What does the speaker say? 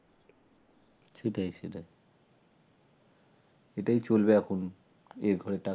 সেটাই সেটাই এটাই চলবে এখন এভাবে টাকা